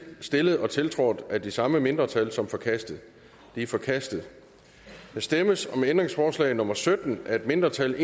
stillet og tiltrådt af de samme mindretal som forkastet de er forkastet der stemmes om ændringsforslag nummer sytten af et mindretal